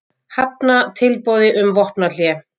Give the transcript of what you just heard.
Hafna tilboði um vopnahlé